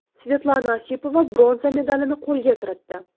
Svetlana Osipova bronza medalini qo‘lga kiritdi.